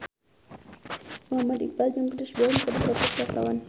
Muhammad Iqbal jeung Chris Brown keur dipoto ku wartawan